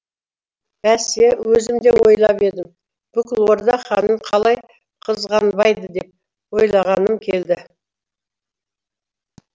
бәсе өзім де ойлап едім бүкіл орда ханын қалай қызғанбайды деп ойлағаным келді